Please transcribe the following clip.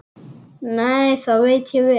Nei, það veit ég vel.